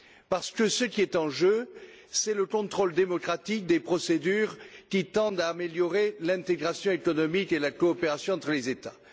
Parce que ce qui est en jeu, c'est le contrôle démocratique des procédures qui tendent à améliorer l'intégration économique et la coopération entre les États.